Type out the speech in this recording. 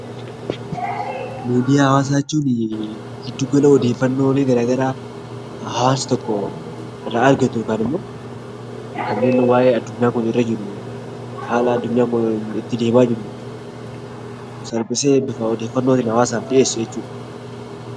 Miidiyaa hawaasaa jechuun giddu gala odeeffannoo garaagaraa hawaasni tokko irraa argatu yookiin immoo haala addunyaa kun irra jiru salphisee bifa odeeffanootiin kan hawaasaaf dhiyeessu jechuudha.